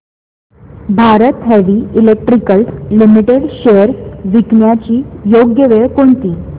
Bharat Heavy Electricals Limited shares विकण्याची योग्य वेळ कोणती